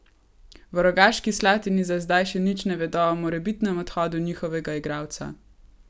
V Rogaški Slatini za zdaj še nič ne vedo o morebitnem odhodu njihovega igralca.